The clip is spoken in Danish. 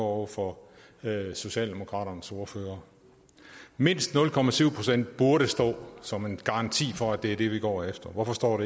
over for socialdemokratiets ordfører mindst nul procent burde stå der som en garanti for at det er det vi går efter hvorfor står